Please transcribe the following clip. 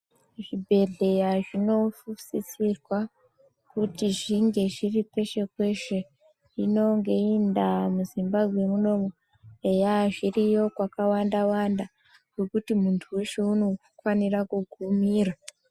Zvibhehlera zvinosisirwa kuti zvinge zviri peshe peshe hino ngeiyi ndaa muZimbabwe munomu eya zviriyo kwakawanda zvekuti muntu weshe unokwanisa kugumira.